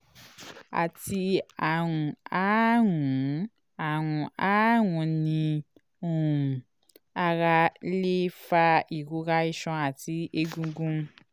ati arun aarun arun aarun ni um ara le fa irora iṣan ati egungun